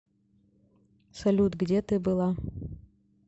салют где ты была